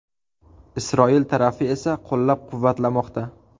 Isroil tarafi esa qo‘llab-quvvatlamoqda.